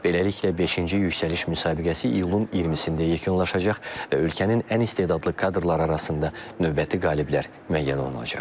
Beləliklə, beşinci yüksəliş müsabiqəsi iyulun 20-də yekunlaşacaq və ölkənin ən istedadlı kadrları arasında növbəti qaliblər müəyyən olunacaq.